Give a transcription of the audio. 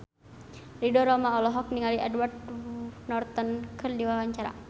Ridho Roma olohok ningali Edward Norton keur diwawancara